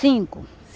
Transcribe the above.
Cinco.